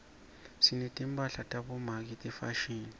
sinetimphahla tabomake tefashini